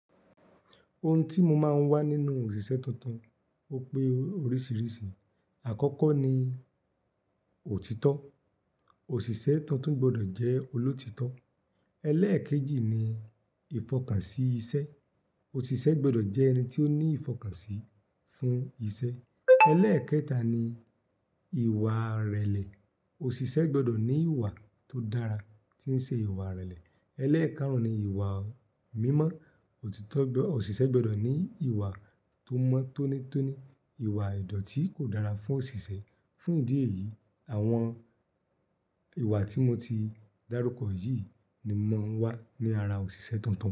Oun tí mo máa ń wà nínú òṣìṣẹ́ tuntun ó pé oríṣìíríṣìí. Àkọ́kọ́ ni òtítọ́, òṣìṣẹ́ tuntun gbọdọ̀ jẹ́ olóòtítọ́. Eléèkejì ni ìfọkànsí iṣẹ́, òṣìṣẹ́ gbọ́dọ̀ jẹ́ ẹni tí ó ní ìfọkànsí fún iṣẹ́. Eléèkẹta ni ìwà ìrẹ̀lẹ̀, òṣìṣẹ́ gbọ́dọ̀ ní ìwà tó dára, tí ń ṣe ìwà ìrẹ̀lẹ̀. Eléèkáàrún ni ìwà mímọ́, òṣìṣẹ́ gbọ́dọ̀ ní ìwà tó mọ́ tónítóní, ìwà ìdọ̀tí kò dára fún òṣìṣẹ́. Fún ìdí èyí, àwọn ìwà tí mo ti dárúkọ yìí ni mò ń wà ní ara òṣìṣẹ́ tuntun.